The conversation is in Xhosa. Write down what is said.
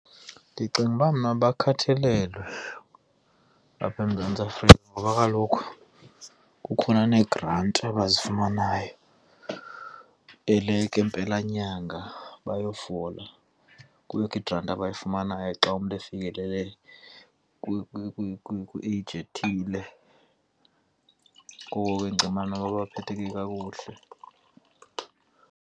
Ndicinga uba mna bakhathalelwe apha eMzantsi Afrika ngoba kaloku kukhona neegranti abazifumanayo eleke mpelanyanga bayofola. Kubekho igranti abayifumanayo xa umntu efikelele kwi-age ethile ngoko ndicinga noba baphetheke kakuhle.